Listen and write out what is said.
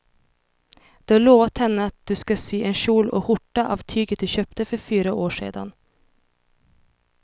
Du har lovat henne att du ska sy en kjol och skjorta av tyget du köpte för fyra år sedan.